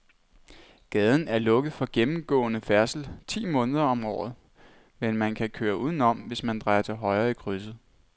Gaden er lukket for gennemgående færdsel ti måneder om året, men man kan køre udenom, hvis man drejer til højre i krydset.